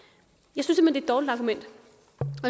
jeg